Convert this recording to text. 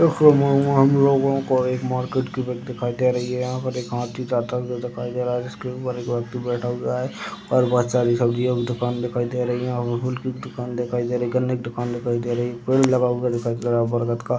हम लोगो को एक मार्केट की पीक दिखाई दे रही है। यहाँ पर एक हाथी जाता हुआ दिखाई दे रहा है जिसके ऊपर एक व्यक्ति बैठा हुआ है और बच्चा भी सब्जियों की दूकान दिखाई दे रही हैं और की भी दूकान दिखाई दे रही है। गन्ने की दूकान दिखाई दे रही है। पेड़ लगा हुआ दिखाई दे रहा है बरगद का।